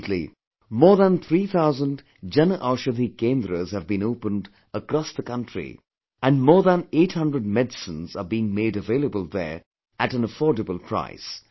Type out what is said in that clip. Presently, more than three thousand Jan Aushadhi Kendras have been opened across the country and more than eight hundred medicines are being made available there at an affordable price